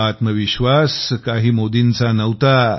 हा आत्मविश्वास काही मोदींचा नव्हता